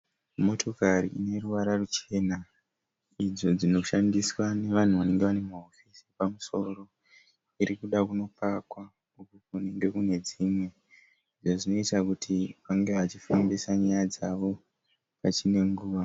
Motokari ine ruvara ruchena idzo dzinoshandiswa nevanhu vanenge vane mahofisi epamusoro irikuda kunopakwa kunenge kune dzimwe izvo zvinoita kuti vange vachifambisa nyaya dzavo pachinenguva.